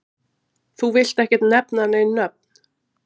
Þú villt ekkert nefna nein nöfn?